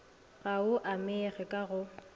ga o amege ka go